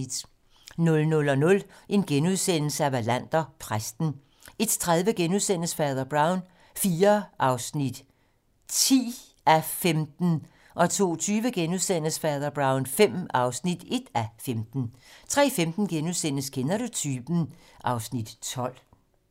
00:00: Wallander: Præsten * 01:30: Fader Brown IV (10:15)* 02:20: Fader Brown V (1:15)* 03:15: Kender du typen? (Afs. 12)*